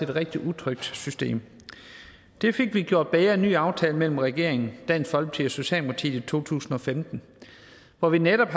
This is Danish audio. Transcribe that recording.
rigtig utrygt system det fik vi gjort bedre gennem en ny aftale mellem regeringen dansk folkeparti og socialdemokratiet i to tusind og femten hvor vi netop